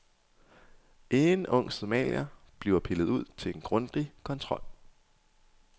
En ung somalier bliver pillet ud til en grundig kontrol.